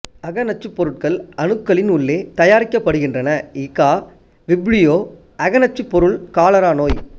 அக நச்சுப் பொருட்கள் அணுக்களின் உள்ளே தயாரிக்கப்படுகின்றன எ கா விப்ரியோ அக நச்சுப் பொருள் காலரா நோய்